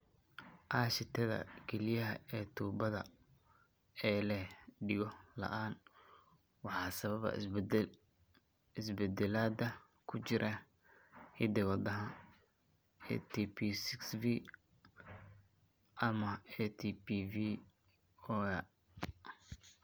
Aashitada kalyaha ee tuubada ee leh dhego la'aan waxaa sababa isbeddellada ku jira hidda-wadaha ATP6V halB hal ama ATP6V0A afar.